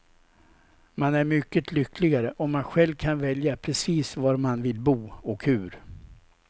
Man är mycket lyckligare om man själv kan välja precis var man vill bo, och hur.